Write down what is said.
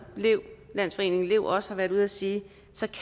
landsforeningen lev også har været ude at sige